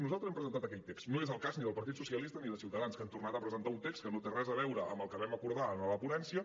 nosaltres hem presentat aquell text no és el cas ni del partit socialista ni de ciutadans que han tornat a presentar un text que no té res a veure amb el que vam acordar a la ponència